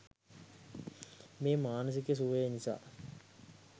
මේ මානසික සුවය නිසා